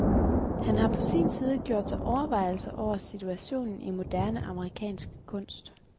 Han har på sin side gjort sig overvejelser over situationen i moderne amerikansk kunst.